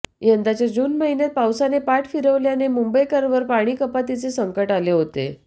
यंदाच्या जून महिन्यात पावसाने पाठ फिरवल्याने मुंबईवर पाणीकपातीचे संकट आले होते